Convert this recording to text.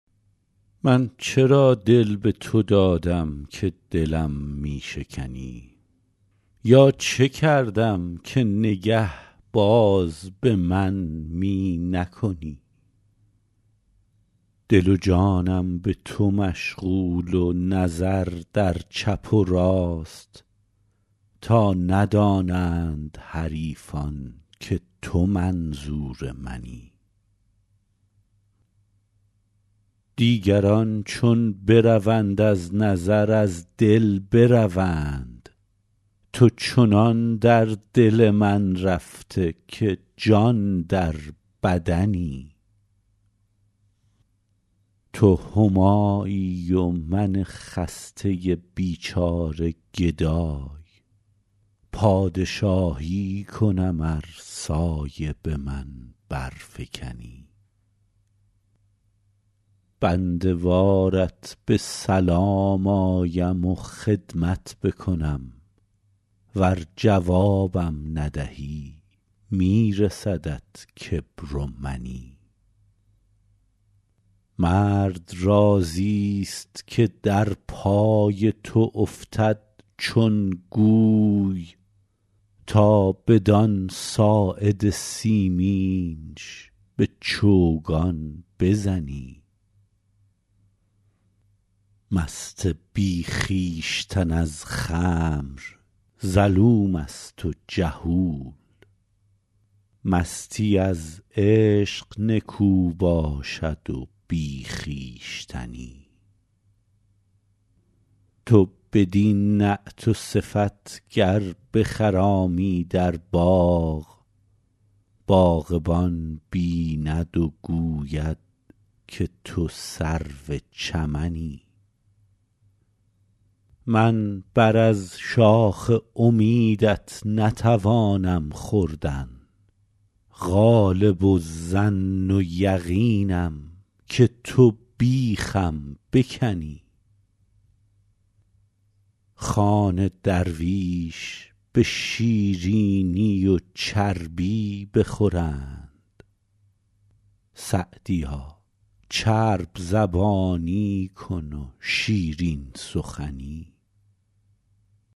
من چرا دل به تو دادم که دلم می شکنی یا چه کردم که نگه باز به من می نکنی دل و جانم به تو مشغول و نظر در چپ و راست تا ندانند حریفان که تو منظور منی دیگران چون بروند از نظر از دل بروند تو چنان در دل من رفته که جان در بدنی تو همایی و من خسته بیچاره گدای پادشاهی کنم ار سایه به من برفکنی بنده وارت به سلام آیم و خدمت بکنم ور جوابم ندهی می رسدت کبر و منی مرد راضیست که در پای تو افتد چون گوی تا بدان ساعد سیمینش به چوگان بزنی مست بی خویشتن از خمر ظلوم است و جهول مستی از عشق نکو باشد و بی خویشتنی تو بدین نعت و صفت گر بخرامی در باغ باغبان بیند و گوید که تو سرو چمنی من بر از شاخ امیدت نتوانم خوردن غالب الظن و یقینم که تو بیخم بکنی خوان درویش به شیرینی و چربی بخورند سعدیا چرب زبانی کن و شیرین سخنی